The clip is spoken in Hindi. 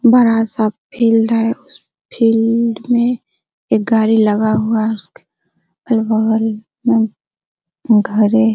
बड़ा सा फील्ड है उस फील्ड में बड़ा एक गाड़ी लगा हुआ है उसके अगल-बगल में घरे --